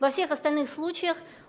во всех остальных случаях